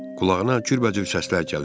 Qulağına cürbəcür səslər gəlir.